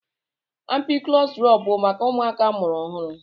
Ampiklọs drọp bụ maka ụmụaka amụrụ ọhụrụ.